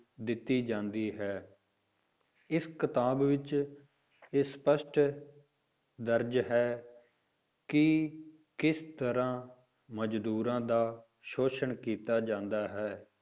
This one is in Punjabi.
ਦਿੱਤੀ ਜਾਂਦੀ ਹੈ ਇਸ ਕਿਤਾਬ ਵਿੱਚ ਇਹ ਸਪਸ਼ਟ ਦਰਜ਼ ਹੈ ਕਿ ਕਿਸ ਤਰ੍ਹਾਂ ਮਜ਼ਦੂਰਾਂ ਦਾ ਸ਼ੋਸ਼ਣ ਕੀਤਾ ਜਾਂਦਾ ਹੈ,